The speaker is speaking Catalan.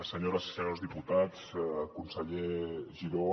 senyores i senyors diputats conseller giró